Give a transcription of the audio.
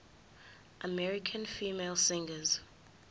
american female singers